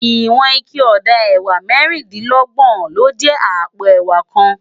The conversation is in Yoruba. Iwòn iké òdá èwá mèrindilògbòn ló jè àpó èwá kán